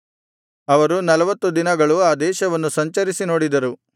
ಅವರು ನಲ್ವತ್ತು ದಿನಗಳು ಆ ದೇಶವನ್ನು ಸಂಚರಿಸಿ ನೋಡಿದರು